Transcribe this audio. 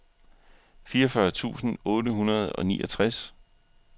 fireogfyrre tusind otte hundrede og niogtres